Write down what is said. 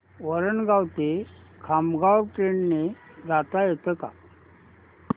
वरणगाव ते खामगाव ट्रेन ने जाता येतं का